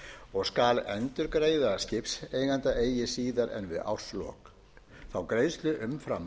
og skal endurgreiða skipseiganda eigi síðar við árslok þá greiðslu umfram